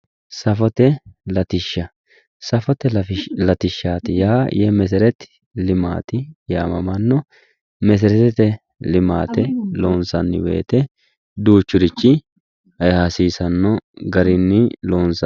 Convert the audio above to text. safote latishsha safote latishsha yaa yemesereti limati yaamamanno meseretete limate loonsanni woyte duuchurichi hasiisanno garinni loonsanni